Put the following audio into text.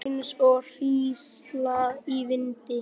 Skalf eins og hrísla í vindi.